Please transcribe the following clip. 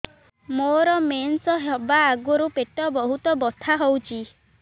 ମୋର ମେନ୍ସେସ ହବା ଆଗରୁ ପେଟ ବହୁତ ବଥା ହଉଚି